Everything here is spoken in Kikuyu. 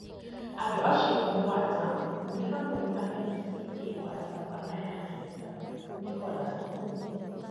Andũ acio mũgwanja nĩ hamwe na MCA wa Savannah ya kĩanda, Nicholas Okumu.